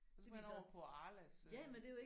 Det viser ja men det er jo ikke